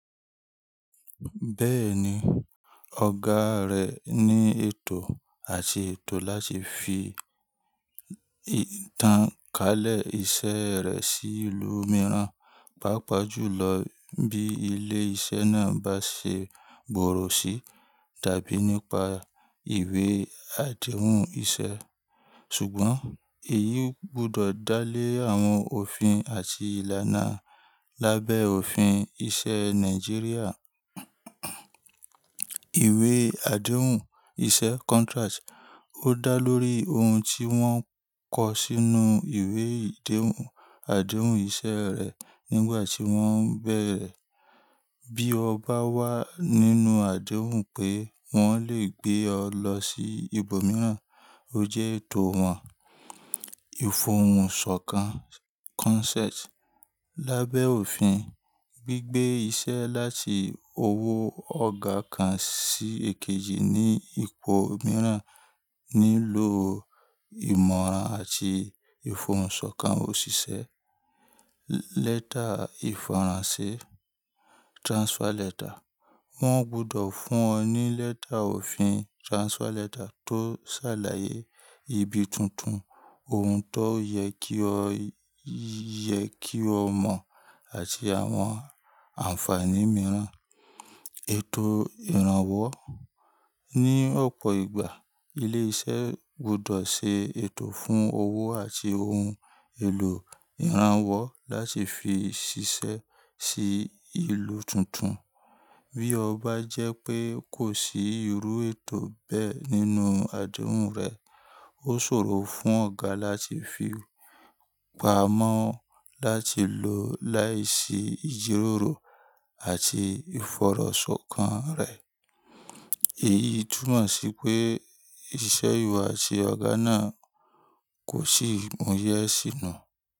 Bẹ́ẹ̀ni, ọ̀gá rẹ ní ètò àti ètò láti fi ìtàn kalẹ̀ iṣẹ́ rẹ sí ìlú mìíràn, pàápàá jùlọ bí ilé-iṣẹ́ náà bá ṣe gbòòrò sí tàbí nípa ìwé àdéhùn iṣẹ́. Ṣùgbọ́n èyí gbọdọ̀ dá lé àwọn òfin àti ìlànà lábẹ́ òfin ìṣe Nàìjíríà. Ìwé àdéhùn iṣẹ́ contract ó dá lórí ohun tí wọ́n kọ sínú ìwé ìdéhùn àdéhùn iṣẹ́ rẹ nígbà tí wọ́n ń bèrè. Bí ọ bá wà nínú àdéhùn pé wọ́n lè gbé ọ lọ sí ibòmíràn, ó jẹ́ ètò wọn. Ìfọ̀hùnsọ̀kan consent lábẹ́ òfin gbígbé iṣẹ́ láti owó ọ̀gá kan sí ekejì ní ipò mìíràn nílò ìmọ̀ràn àti ìfọ̀hùnsọ̀kan òṣìṣẹ́. Lẹ́tà ìfọ̀rọ̀nsẹ́ transfer letter wọ́n gbọdọ̀ fún ọ ní lẹ́tà òfin transfer letter tó ṣàlàyé ibi tuntun, ohun tó yẹ kí o yẹ kí o mọ̀ àti àwọn ànfàní mìíràn. Ètò ìrànwọ́ ní ọ̀pọ̀ ìgbà, ilé-iṣẹ́ gbọdọ̀ ṣe ètò fún owó àti ohun èlò ìrànwọ́ láti fi ṣiṣẹ́ sí ìlú tuntun. Bí ọ bá jẹ́ pé kò sí irú ètò bẹ́ẹ̀ nínú àdéhùn rẹ, ó ṣòro fún ọ̀gá láti fi pamọ́ láti lò láìsí ìjíròrò àti ìfọ̀rọ̀sọ̀kan rẹ̀. Èyí túmọ̀ sí pé iṣẹ́ ìwọ àti ọ̀gá náà kò sí ìmúyẹ́ sínú.